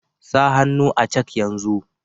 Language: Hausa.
Sa hannu a cak yanzu.